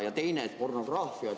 Ja teine asi on pornograafia.